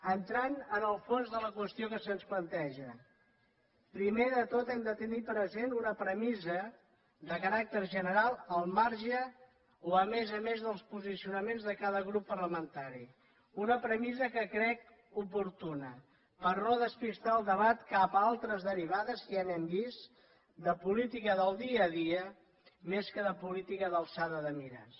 entrant en el fons de la qüestió que se’ns planteja primer de tot hem de tenir present una premissa de caràcter general al marge o a més a més dels posicionaments de cada grup parlamentari una premissa que crec oportuna per no despistar el debat cap a altres derivades que ja n’hem vist de política del dia a dia més que de política d’alçada de mires